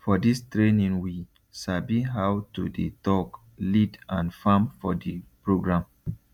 for dis trainingwe sabi how to dey talk lead and farm for di program